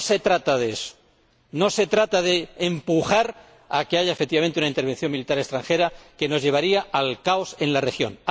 No se trata de eso, no se trata de empujar a que haya, efectivamente, una intervención militar extranjera que nos llevaría al caos en la región.